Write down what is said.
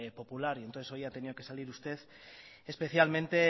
popular entonces hoy ha tenido que salir usted especialmente